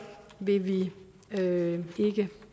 vil vi ikke